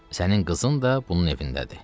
Sənin qızın da bunun evindədir.